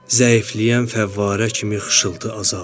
Zəifləyən fəvvarə kimi xışıltı azaldı.